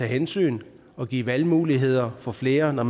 hensyn og give valgmuligheder for flere når